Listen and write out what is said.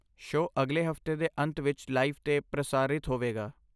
Show ਅਗਲੇ ਹਫਤੇ ਦੇ ਅੰਤ ਵਿੱਚ ਲਾਈਵ 'ਤੇ ਪ੍ਰਸਾਰਿਤ ਹੋਵੇਗਾ।